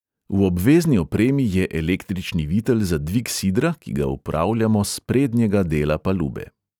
V obvezni opremi je električni vitel za dvig sidra, ki ga upravljamo s prednjega dela palube.